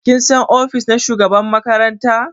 Kin san ofis na shugaban makaranta?